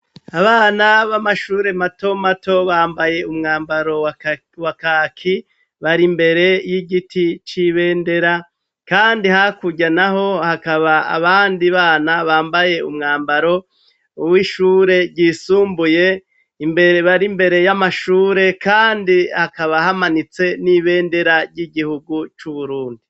Abana b'amashure mato mato bambaye umwambaro wa kaki, bar'imbere y'igiti c'ibendera kandi hakurya naho hakaba abandi bana bambaye umwambaro w'ishure ryisumbuye imbere bar'imbere y'amashure kandi hakaba hamanitse n'ibendera ry'igihugu c'Uburundi.